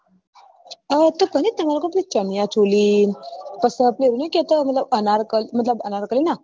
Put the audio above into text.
તો પહી ચણ્યાચોલી અને પછી આપડે ની કેતા અનારકલી મતલબ અનારકલી ના